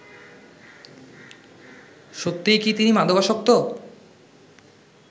সত্যিই কি তিনি মাদকাসক্ত